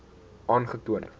aangetoon